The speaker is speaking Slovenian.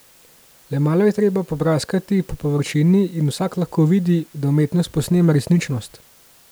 Le malo je treba popraskati po površini in vsak lahko vidi, da umetnost posnema resničnost.